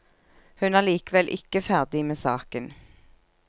Hun er likevel ikke ferdig med saken.